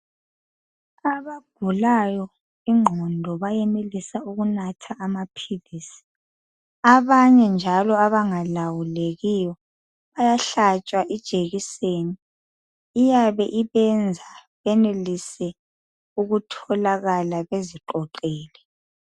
Abagulayo ingqondo bayenelisa ukunatha amaphilisi. Abanye njalo abangalawulekiyo bayahlatshwa ijekiseni . Iyabe ibenza benelise ukutholakala beziqoqile.